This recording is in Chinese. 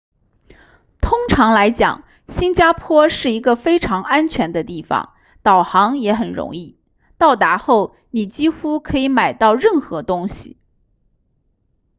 通常来讲新加坡是一个非常安全的地方导航也很容易到达后你几乎可以买到任何东西